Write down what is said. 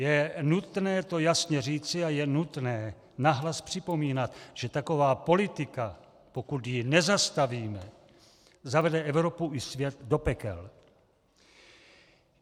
Je nutné to jasně říci a je nutné nahlas připomínat, že taková politika, pokud ji nezastavíme, zavede Evropu i svět do pekel.